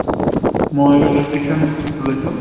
মই electrician লৈছোঁ।